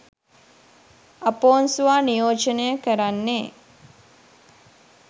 අපොන්සුවා නියෝජනය කරන්නේ